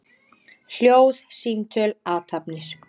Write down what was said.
Hljóð, símtöl, athafnir.